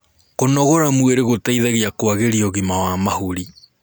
kũnogora mwĩrĩ gũteithagia kuagirĩa ũgima wa mahũri